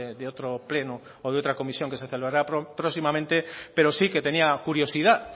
de otro pleno o de otra comisión que se celebrará próximamente pero sí que tenía curiosidad